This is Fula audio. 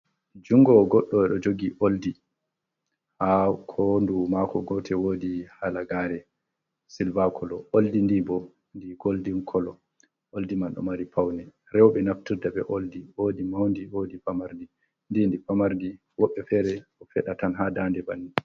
Junngo goɗɗo ɗo jogi oldi ,haa hoondu maako gotel woodi halagaare silva kolo. Oldi ndi bo ndi goldin kolo, oldi man ɗo mari pawne. Rowɓe naftirta be oldi ,woodi mawndi, woodi famardi. Ndi ndi famardi woɓɓe feere ɗo feɗa tan haa daande banni.